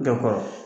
Jɔ kɔrɔ